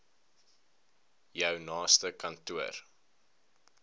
jou naaste kantoor